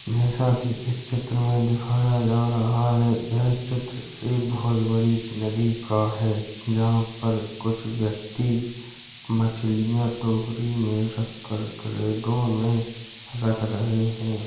ये साथ ही इस चित्र में दिखाया जा रहा है। यह चित्र एक बहुत बड़ी नदी का है। जहाँं पर कुछ व्यक्ति मछलियां टोकरी में रख कर क्रिएटो में रख रह रहे हैं।